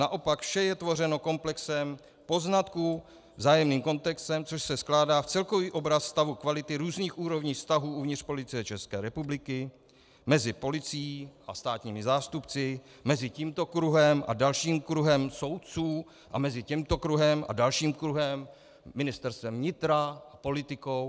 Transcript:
Naopak, vše je tvořeno komplexem poznatků, vzájemným kontextem, což se skládá v celkový obraz stavu kvality různých úrovní vztahů uvnitř Policie České republiky, mezi policií a státními zástupci, mezi tímto kruhem a dalším kruhem soudců a mezi tímto kruhem a dalším kruhem, Ministerstvem vnitra a politikou.